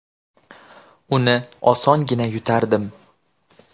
Uni osongina yutardim.